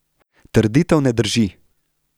Trditev ne drži.